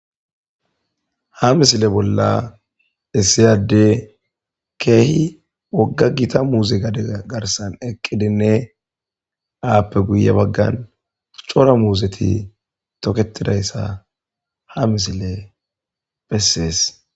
Ha misile bolla issi adey keehi wogga gita muuze gade garsan eqqidinne appe guye baggan cora muuzeti toketidayssa ha misile besees.